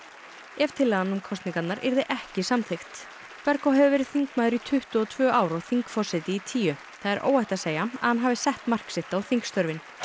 ef tillagan um kosningar yrði ekki samþykkt hefur verið þingmaður í tuttugu og tvö ár og þingforseti í tíu það er óhætt að segja að hann hafi sett mark sitt á þingstörfin